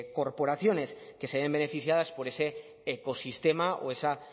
corporaciones que se ven beneficiadas por ese ecosistema o esa